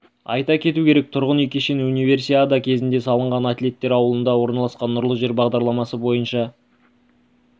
айта кету керек тұрғын үй кешені универсиада кезінде салынған атлеттер ауылында орналасқан нұрлы жер бағдарламасы бойынша